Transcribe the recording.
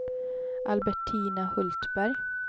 Albertina Hultberg